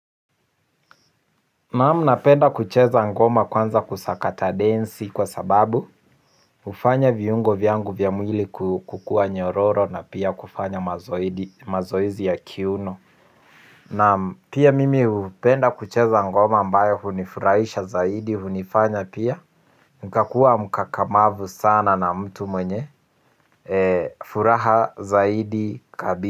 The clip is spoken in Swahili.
Naam napenda kucheza ngoma kwanza kusakata densi kwa sababu hufanya viungo vyangu vya mwili kukua nyororo na pia kufanya mazoezi ya kiuno. Naam pia mimi hupenda kucheza ngoma ambayo hunifurahisha zaidi hunifanya pia nikakua mkakamavu sana na mtu mwenye furaha zaidi kabi.